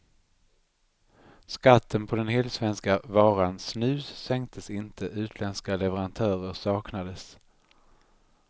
Skatten på den helsvenska varan snus sänktes inte, utländska leverantörer saknades.